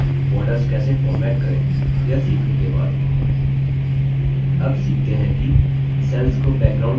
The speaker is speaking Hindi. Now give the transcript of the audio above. borders कैसे format करें यह सीखने के बाद अब सीखते हैं कि cells को background colors कैसे दें